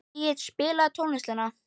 Engill, spilaðu tónlist.